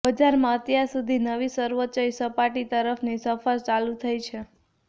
બજારમાં અત્યાર સુધી નવી સર્વોચ્ચ સપાટી તરફની સફર ચાલુ થઈ છે